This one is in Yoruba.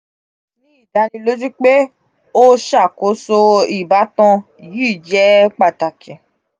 ni idaniloju pe o ṣakoso ibatan yii jẹ pataki.